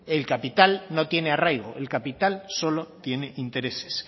el capital no tiene arraigo el capital solo tiene intereses